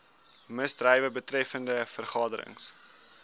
misdrywe betreffende vergaderings